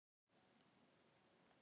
Miklu sterkari en allir aðrir.